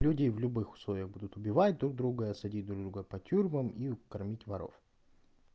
люди в любых условиях будут убивать друг друга садить друг друга по тюрьмам и кормить воров